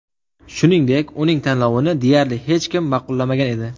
Shuningdek, uning tanlovini deyarli hech kim ma’qullamagan edi.